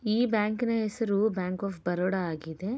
ಈ ಬ್ಯಾಂಕಿನ ಹೆಸರು ಬ್ಯಾಂಕ್ ಆಫ್ ಬರೋಡ ಆಗಿದೆ.